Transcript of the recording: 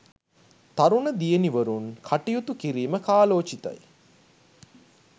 තරුණ දියණිවරුන් කටයුතු කිරීම කාලෝචිතයි.